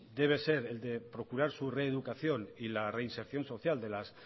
debe ser el de procurar su reeducación y la reinserción social de las